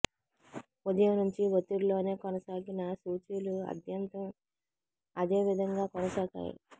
ఉదయం నుంచి ఒత్తిడిలోనే కొనసాగిన సూచీలు ఆద్యతం అదేవిధంగా కొనసాగాయి